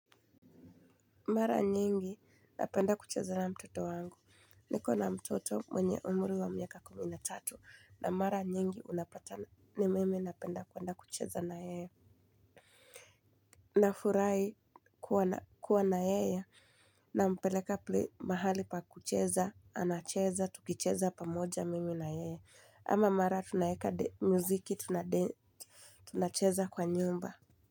Mara nyingi napenda kucheza na mtoto wangu, niko na mtoto mwenye umri wa miaka kumi na tatu na mara nyingi unapata ni mimi napenda kuenda kucheza na yeye. Nafurahi kuwa na yeye nampeleka mahali pa kucheza, anacheza, tukicheza pamoja mimi na yeye. Ama mara tunaeka muziki tunacheza kwa nyumba.